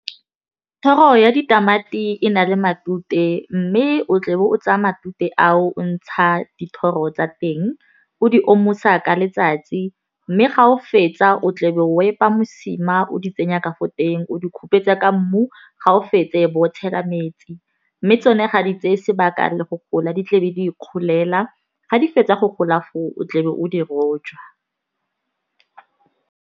Thero ya ditamati e na le matute mme o tle be o tsaya matute ao o ntsha dithoro tsa teng, o di omosa ka letsatsi. Mme ga o fetsa o tla be wa epa mosima o di tsenya ka fo teng. O di ka kupetsa ka mmu ga o fetsa e be o tshela metsi. Mme tsone ga di tseye sebaka le go gola di tle di be di ikgolela ga di fetsa go gola foo o tlebe o di rojwa.